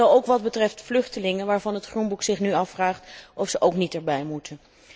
Zo ook wat betreft vluchtelingen waarvan het Groenboek zich nu afvraagt of ze ook niet daarbij moeten.